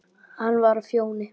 Hann var á Fjóni.